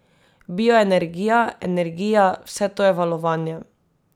Bioenergija, energija, vse to je valovanje.